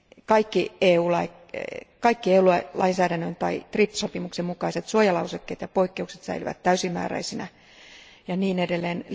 Kaikki EU lainsäädännön tai TRIPS sopimuksen mukaiset suojalausekkeet ja poikkeukset säilyvät täysimääräisinä ja niin edelleen.